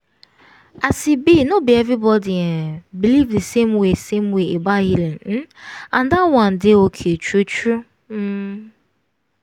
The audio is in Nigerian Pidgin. as e be no be everybody um believe the same way same way about healing um and that one dey okay true true. um